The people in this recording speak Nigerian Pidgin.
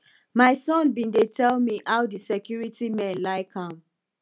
my son bin dey tell me how the security men like am